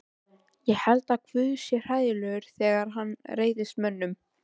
Ég held að guð sé hræðilegur þegar hann reiðist mönnunum.